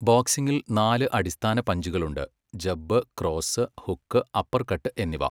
ബോക്സിംഗിൽ നാല് അടിസ്ഥാന പഞ്ചുകളുണ്ട്, ജബ്, ക്രോസ്, ഹുക്ക്, അപ്പർകട്ട് എന്നിവ.